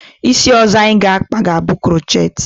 Isi ọzọ anyị ga akpa, ga bụ krochet